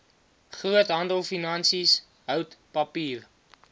groothandelfinansies hout papier